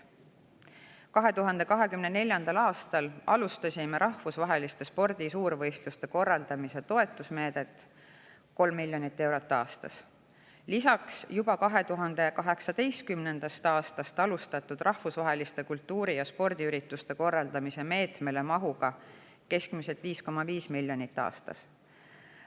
2024. aastal alustasime rahvusvaheliste spordi suurvõistluste korraldamise toetusmeedet, 3 miljonit eurot aastas, seda lisaks juba 2018. aastal alustatud rahvusvaheliste kultuuri‑ ja spordiürituste korraldamise meetmele mahuga keskmiselt 5,5 miljonit eurot aastas.